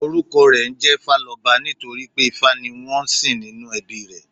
Orúkọ rè ńjé Fáloba nítorí pé Ifá ni wón ń sìn nínú ẹbí i rè